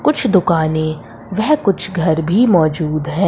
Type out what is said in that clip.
कुछ दुकाने वह कुछ घर भी मौजूद है।